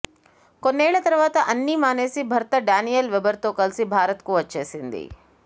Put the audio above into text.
కొన్నేళ్ల తర్వాత అన్నీ మానేసి భర్త డానియెల్ వెబర్తో కలిసి భారత్కు వచ్చేసింది